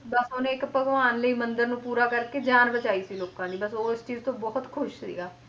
ਬਸ ਉਹਨੇ ਇੱਕ ਭਗਵਾਨ ਦੇ ਹੀ ਮੰਦਿਰ ਨੂੰ ਪੂਰਾ ਕਰਕੇ ਜਾਨ ਬਚਾਈ ਸੀ ਲੋਕਾਂ ਦੀ ਬਸ ਉਹ ਇਸ ਚੀਜ਼ ਤੋਂ ਬਹੁਤ ਖ਼ੁਸ਼ ਸੀਗਾ,